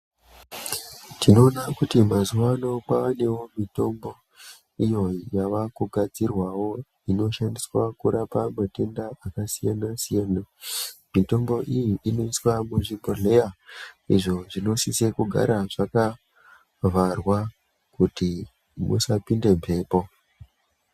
Tinoona kuti mazuwa ano kwanewo mitombo iyo yave kugadzirwawo inoshandiswa kurapa matenda akasiyana siyana mitombo iyi i oiswa muzvibhodhleya izvo zvinosisa kugara zvakavharwa kuti musapinde mhepo.